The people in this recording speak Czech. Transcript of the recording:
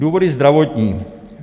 Důvody zdravotní.